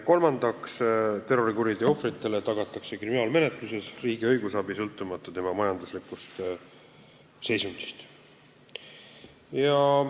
Kolmandaks, terrorikuriteo ohvrile tagatakse kriminaalmenetluses riigi õigusabi, sõltumata tema majanduslikust seisundist.